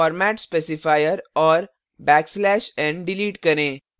format specifier और \n delete करें